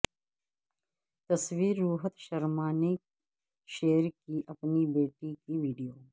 تصویرروہت شرما نے شیئر کی اپنی بیٹی کی ویڈیو